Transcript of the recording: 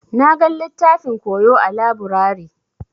Na gan littafin koyo a laburare.